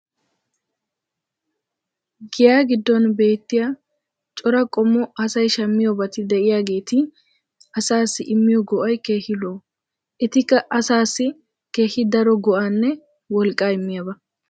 Giyaa giddon beetiya cora qommo asay shammiyoobatti diyaageeti asaassi immiyo go'ay keehi lo'o. Etikka asaassi keehi daro go'aanne wolqqaa immiyaaba.